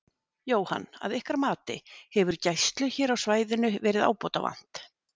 Jóhann: Að ykkar mati, hefur gæslu hér á svæðinu verið ábótavant?